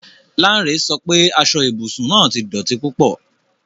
Lanre sọ pe aso ibusun naa ti dọti pupọ